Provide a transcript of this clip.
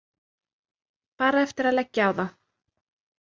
Bara eftir að leggja á þá.